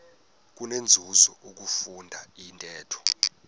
kunenzuzo ukufunda intetho